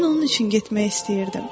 Mən onun üçün getmək istəyirdim.